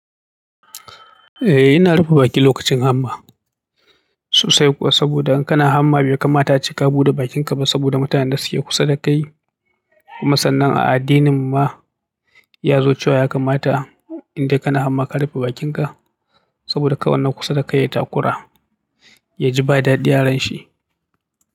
Eh, ina rufe baki lokacin hamma sosai kuwa saboda in kana hamma bai kamata ace ka buɗe bakinka ba saboda mutanen da suke kusa dakai. Kuma sannan a addininmu ma ya zo cewa ya kamata in dai kana hamma ka rufe bakinka. Saboda kowane kusa dakai ya takura, ya ji ba daɗi aranshi.